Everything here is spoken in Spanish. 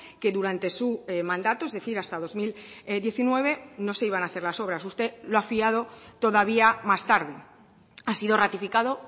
que durante su mandato es decir hasta dos mil diecinueve no se iban a hacer las obras usted lo ha fiado todavía más tarde ha sido ratificado